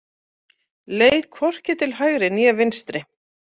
Leit hvorki til hægri né vinstri.